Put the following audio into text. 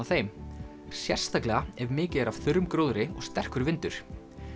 þeim sérstaklega ef mikið er af þurrum gróðri og sterkur vindur